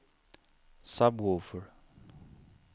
sub-woofer